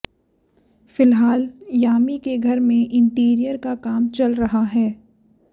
फिलहाल यामी के घर में इंटीरियर का काम चल रहा है